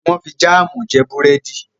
wón fí Jam jé Búrẹ́di.